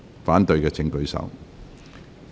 反對的請舉手。